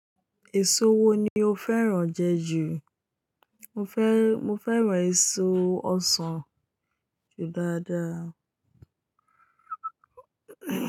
Èso wo ni o fẹ́ràn jẹ jù? Mo fẹ́, mo fẹ́ràn èso ọsàn jù dáadáa.